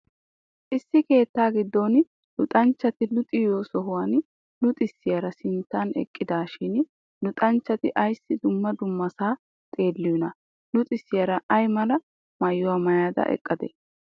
Issi keettaa giddon luxanchchati luxiyo sohuwan luxissiyaara sinttan eqqidaashin luxanchchati ayssi dumma dummasaa xeelliyonaa? Luxisiyara ay mala maayuwa maayada eqqadee?